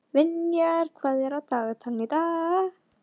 Vinjar, hvað er á dagatalinu í dag?